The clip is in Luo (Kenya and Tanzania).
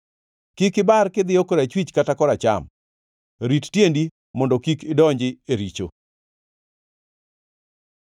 Kik ibar kidhiyo korachwich kata koracham; rit tiendi mondo kik idonji e richo.